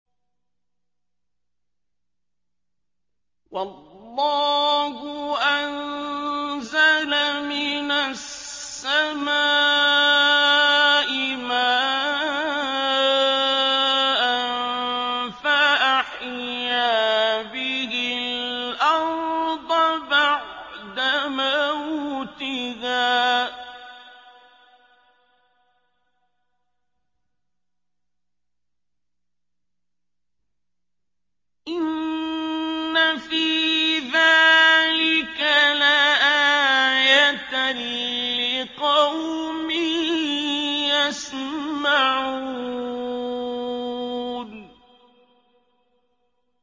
وَاللَّهُ أَنزَلَ مِنَ السَّمَاءِ مَاءً فَأَحْيَا بِهِ الْأَرْضَ بَعْدَ مَوْتِهَا ۚ إِنَّ فِي ذَٰلِكَ لَآيَةً لِّقَوْمٍ يَسْمَعُونَ